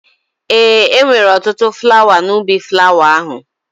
Ee, e nwere ọtụtụ flawa n'ubi flawa ahụ